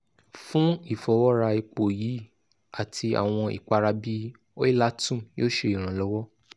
fun ifọwọra epo yii ati awọn ipara bii oilatum yoo ṣe iranlọwọ